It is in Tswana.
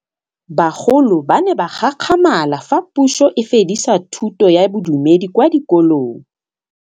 Bagolo ba ne ba gakgamala fa Pusô e fedisa thutô ya Bodumedi kwa dikolong.